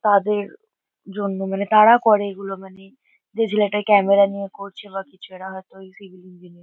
তাদের জন্য মানে তারা করে এগুলো মানে। যে ছেলেটা ক্যামেরা নিয়ে করছে বা কিছু এরা হয়তো সিভিল ইঞ্জিনিয়ার ।